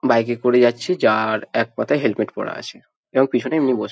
bike -এ করা যাচ্ছে যাআআর একপাতা হেলমেট পরা আছেকেউ পিছনে এমনি বসে--